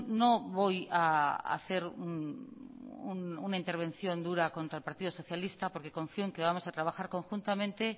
no voy a hacer una intervención dura contra el partido socialista porque confío en que vamos a trabajar conjuntamente